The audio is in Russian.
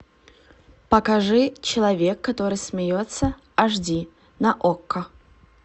покажи человек который смеется аш ди на окко